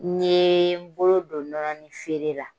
N yee n bolo do nɔnɔni feere la